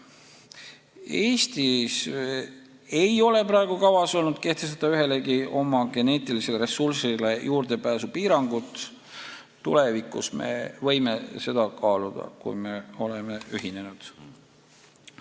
Eestis ei ole kavas olnud kehtestada ühelegi oma geneetilisele ressursile juurdepääsu piirangut, tulevikus me võime seda kaaluda, kui me oleme ühinenud.